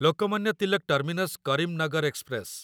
Lokmanya Tilak terminus Karimnagar express